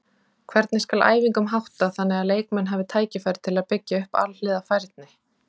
Hvernig skal æfingum háttað þannig að leikmenn hafi tækifæri til að byggja upp alhliða færni?